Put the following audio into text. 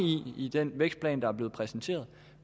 i den vækstplan der er blevet præsenteret